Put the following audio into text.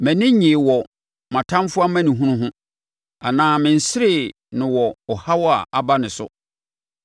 “Mʼani nnyee wɔ me ɔtamfoɔ amanehunu ho anaa menseree no wɔ ɔhaw a aba ne so.